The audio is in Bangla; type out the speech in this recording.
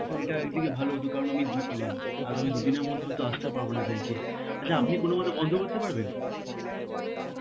হ্যাঁ এটা একদিকে হত কারণ আমি দু~ উম আগামী দুদিনের মধ্যে হয়তো আসতে পারবো না bank এ. আচ্ছা আপনি কোনমতে বন্ধ করতে পারবেন?